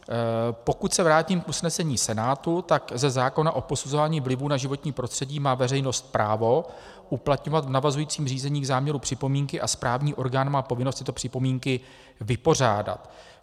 Pokud se vrátím k usnesení Senátu, tak ze zákona o posuzování vlivu na životní prostředí má veřejnost právo uplatňovat v navazujícím řízení k záměru připomínky a správní orgán má povinnost tyto připomínky vypořádat.